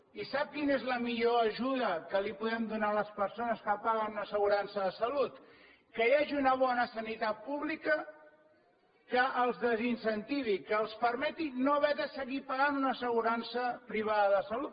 i sap quina és la millor ajuda que els podem donar a les persones que paguen una assegurança de salut que hi hagi una bona sanitat pública que els desincentivi que els permeti no haver de seguir pagant una assegurança privada de salut